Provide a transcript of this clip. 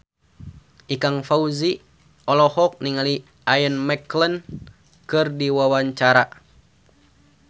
Ikang Fawzi olohok ningali Ian McKellen keur diwawancara